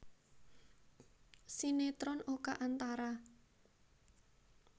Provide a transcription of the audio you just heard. Sinetron Oka Antara